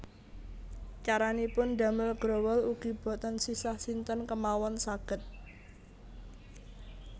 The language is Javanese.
Caranipun damel growol ugi boten sisah sinten kémawon saged